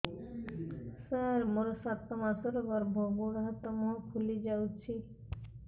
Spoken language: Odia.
ସାର ମୋର ସାତ ମାସର ଗର୍ଭ ଗୋଡ଼ ହାତ ମୁହଁ ଫୁଲି ଯାଉଛି